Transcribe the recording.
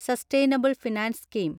sustainable finance scheme